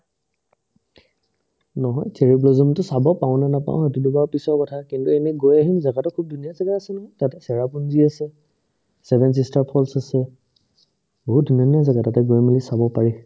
নহয়, cherry blossom তো চাব পাওনে নাপাও সেইতোটো বাৰু পিছৰ কথা কিন্তু এনে গৈ আহিম জাগাতো খুব ধুনীয়া জাগা আছে নহয় তাতে ছেৰাপুঞ্জী আছে, seven sister falls আছে বহুত ধুনীয়া ধুনীয়া জাগা তাতে গৈ মিলি চাব পাৰি |